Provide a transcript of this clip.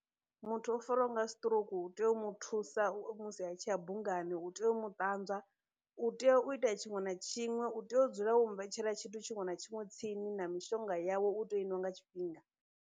Muthu o fariwaho nga stroke u tea u mu thusa u musi a tshi ya bungani, u tea u mu ṱanzwa, u tea u ita tshiṅwe na tshiṅwe, u tea u dzula wo mu vhetshela tshithu tshiṅwe na tshiṅwe tsini, na mishonga yawe u tea u i nwa nga tshifhinga.